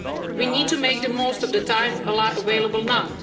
at sectorial level. We need to make the most of the